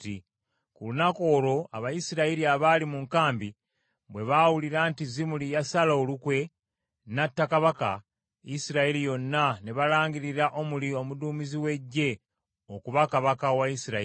Ku lunaku olwo Abayisirayiri abaali mu nkambi bwe baawulira nti Zimuli yasala olukwe, n’atta kabaka, Isirayiri yonna ne balangirira Omuli omuduumizi w’eggye okuba kabaka wa Isirayiri.